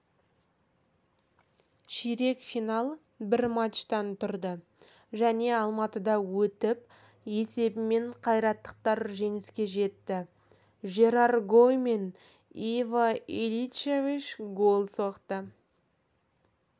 ширек финал бір матчтан тұрды және алматыда өтіп есебімен қайраттықтар жеңіске жетті жерар гоу мен иво иличевич гол соқты